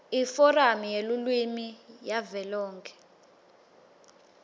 iforamu yelulwimi yavelonkhe